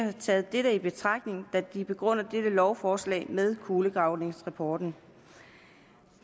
har taget dette i betragtning da de begrunder dette lovforslag med kulegravningsrapporten